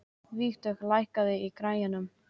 Vígdögg, lækkaðu í græjunum.